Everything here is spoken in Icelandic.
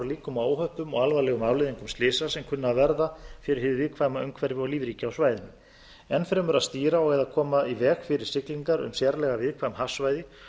líkum á óhöppum og alvarlegum afleiðingum slysa sem kunna að verða fyrir hið viðkvæma umhverfi og lífríki á svæðinu enn fremur að stýra og eða koma í veg fyrir siglingar um sérlega viðkvæm hafsvæði